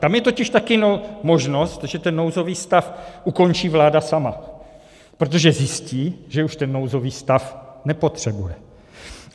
Tam je totiž taky možnost, že ten nouzový stav ukončí vláda sama, protože zjistí, že už ten nouzový stav nepotřebuje.